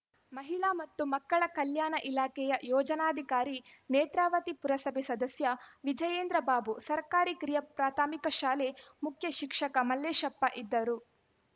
ಮಹಿಳಾ ಮತ್ತು ಮಕ್ಕಳ ಕಲ್ಯಾಣ ಇಲಾಖೆಯ ಯೋಜನಾಧಿಕಾರಿ ನೇತ್ರಾವತಿ ಪುರಸಭೆ ಸದಸ್ಯ ವಿಜಯೇಂದ್ರಬಾಬು ಸರ್ಕಾರಿ ಕಿರಿಯ ಪ್ರಾಥಮಿಕ ಶಾಲೆ ಮುಖ್ಯಶಿಕ್ಷಕ ಮಲ್ಲೇಶಪ್ಪ ಇದ್ದರು